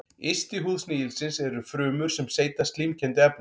Yst í húð snigilsins eru frumur sem seyta slímkenndu efni.